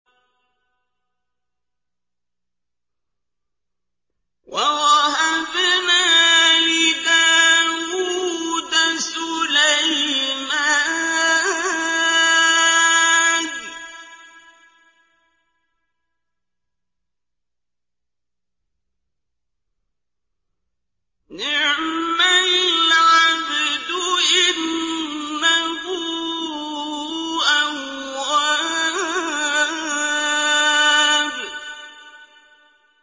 وَوَهَبْنَا لِدَاوُودَ سُلَيْمَانَ ۚ نِعْمَ الْعَبْدُ ۖ إِنَّهُ أَوَّابٌ